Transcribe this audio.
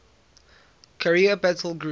carrier battle group